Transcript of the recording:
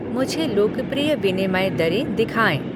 मुझे लोकप्रिय विनिमय दरें दिखाएँ